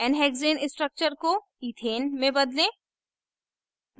nhexane structure को ethane में बदलें